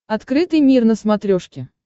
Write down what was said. открытый мир на смотрешке